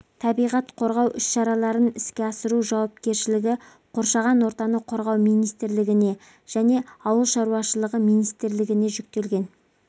табиғат қорғау іс-шараларын іске асыру жауапкершілігі қоршаған ортаны қорғау министрлігіне және ауыл шарушылығы министрлігіне жүктелген